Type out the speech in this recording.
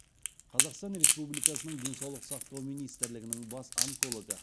қазақстан республикасының денсаулық сақтау министрлігінің бас онкологы